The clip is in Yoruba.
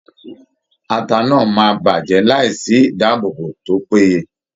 Ata náà máa bàjẹ́ láìsí ìdáàbòbò tó péye.